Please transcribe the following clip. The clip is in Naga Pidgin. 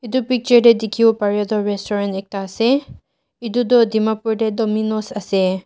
etu picture dae dekhevo parai tuh restaurant ekta ase etu tuh dimapur dae Dominoes ase.